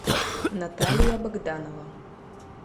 наталья богданова